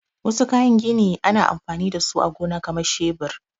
Wasu daga cikin kayan gini ana anfani da su a gona kamar shebir.